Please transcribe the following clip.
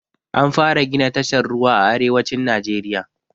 An fara gina tashar ruwa a arewacin najeriya